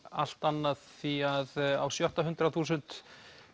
allt annað því á sjötta hundrað þúsund